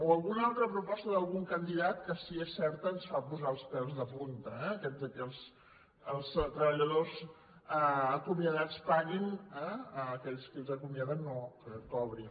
o alguna altra proposta d’algun candidat que si és certa ens fa posar els pèls de punta eh aquella que els treballadors acomiadats paguin a aquells que els acomiaden que no que cobrin